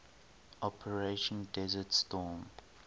operation desert storm